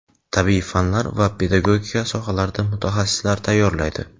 tabiiy fanlar va pedagogika sohalarida mutaxassislar tayyorlaydi.